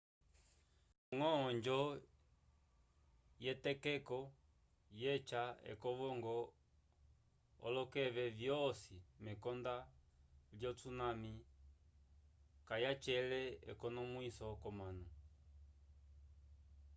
ndañgo onjo yetokeko yeca ekovongo olokeke vyosi mekonda lyo tsunami kayacela ekonomwiso k'omanu